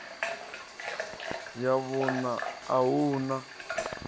ya vhuṋa a hu na